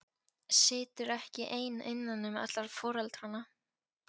Situr ekki ein innan um alla foreldrana.